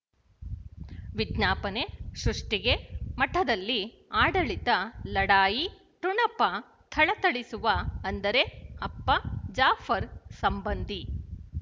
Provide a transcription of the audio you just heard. ವಿಜ್ಞಾಪನೆ ಸೃಷ್ಟಿಗೆ ಮಠದಲ್ಲಿ ಆಡಳಿತ ಲಢಾಯಿ ಠೊಣಪ ಥಳಥಳಿಸುವ ಅಂದರೆ ಅಪ್ಪ ಜಾಫರ್ ಸಂಬಂಧಿ